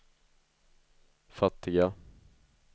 fattiga